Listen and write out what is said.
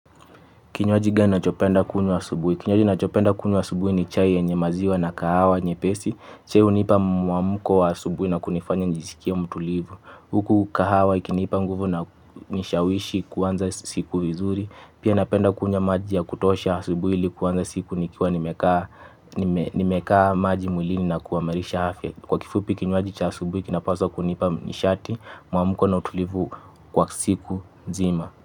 Kinywaji gani unachopenda kunywa asubuhi? Kinywaji nachopenda kunywa asubuhi ni chai yenye maziwa na kahawa nyepesi. Chai hunipa muamuko wa asubuhi na kunifanya nijisikie mtulivu. Huku kahawa ikinipa nguvu na hunishawishi kuanza siku vizuri. Pia napenda kunywa maji ya kutosha asubuhi ili kuanza siku nikiwa nimekaa maji mwilini na kuimarisha afya. Kwa kifupi kinywaji cha asubuhi kinapaswa kunipa nishati, muamko na utulivu kwa siku nzima.